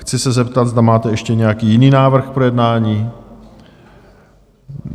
Chci se zeptat, zda máte ještě nějaký jiný návrh k projednání?